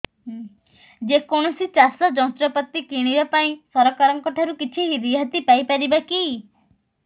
ଯେ କୌଣସି ଚାଷ ଯନ୍ତ୍ରପାତି କିଣିବା ପାଇଁ ସରକାରଙ୍କ ଠାରୁ କିଛି ରିହାତି ପାଇ ପାରିବା କି